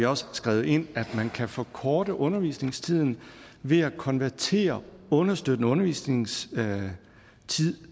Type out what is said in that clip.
også skrevet ind at man kan forkorte undervisningstiden ved at konvertere understøttende undervisningstid